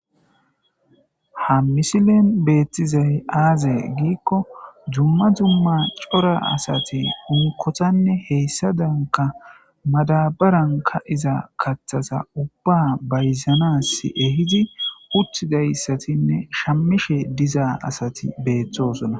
ha misilen beettizay aaza giikko dumma dumma cora asati unkothanne heyssadanka madabaran ka'iza kathasa ubba bayzanas ehidi uttidayssatinne shammishe diza asati beettosona